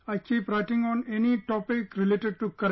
I keep writing on any topic related to current